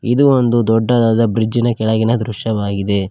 ಇದು ಒಂದು ದೊಡ್ಡದಾದ ಬ್ರಿಡ್ಜ್ ನ ಕೆಳಗಿನ ದೃಶ್ಯವಾಗಿದೆ.